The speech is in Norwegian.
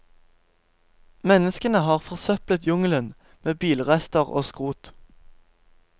Menneskene har forsøplet jungelen med bilrester og skrot.